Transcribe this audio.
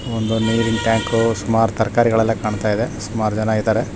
ಒಂದು ನೀರಿನ್‌ ಟ್ಯಾಂಕು ಸುಮಾರು ತರ್‌ಕಾರಿಗಳೆಲ್ಲ ಕಾಣ್ತ ಇದೆ ಸುಮಾರ್‌ ಜನ ಇದ್ದಾರೆ.